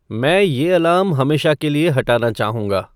मैं ये अलार्म हमेशा के लिए हटाना चाहूँगा